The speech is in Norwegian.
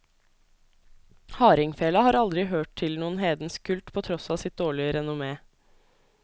Hardingfela har aldri hørt til noen hedensk kult på tross av sitt dårlige renommé.